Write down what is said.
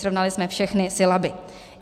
Srovnali jsme všechny sylaby.